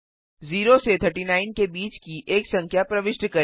0 से 39 के बीच की एक संख्या प्रविष्ट करें